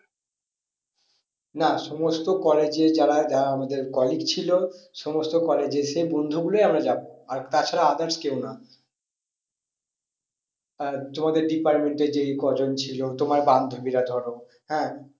না সমস্ত college এর যারা, যারা আমাদের colic ছিল সমস্ত college এর সেই বন্ধু গুলোই আমরা যাবো আর তাছাড়া others কেউ না। আর তোমাদের department এর যে কজন ছিল তোমার বান্ধবীরা ধরো হ্যাঁ